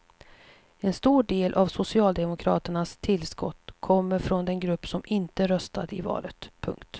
En stor del av socialdemokraternas tillskott kommer från den grupp som inte röstade i valet. punkt